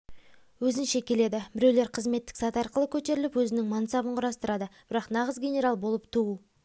өзінше келеді біреулер қызметтік саты арқылы көтеріліп өзінің мансабын құрастырады бірақ нағыз генерал болып туу